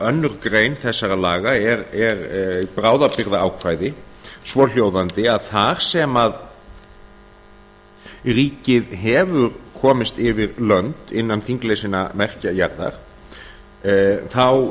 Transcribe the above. önnur grein þessara laga er bráðabirgðaákvæði svohljóðandi að þar sem ríkið hefur komist yfir lönd innan þinglesinna merkja jarða þá